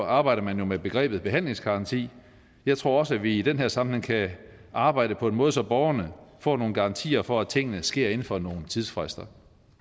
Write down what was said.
arbejder man jo med begrebet behandlingsgaranti jeg tror også vi i den her sammenhæng kan arbejde på en måde så borgerne får nogle garantier for at tingene sker inden for nogle tidsfrister